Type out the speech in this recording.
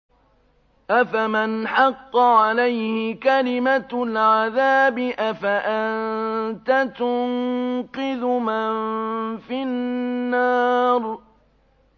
أَفَمَنْ حَقَّ عَلَيْهِ كَلِمَةُ الْعَذَابِ أَفَأَنتَ تُنقِذُ مَن فِي النَّارِ